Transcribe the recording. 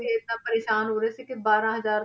ਏਦਾਂ ਪਰੇਸਾਨ ਹੋ ਰਹੇ ਸੀ ਕਿ ਬਾਰਾਂ ਹਜ਼ਾਰ,